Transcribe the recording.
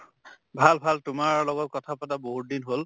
ভাল ভাল তোমাৰ লগত কথা পাতা বহুত দিন হʼল